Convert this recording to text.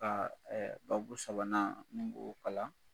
Ka ɛɛ babu sabanan n bo kalan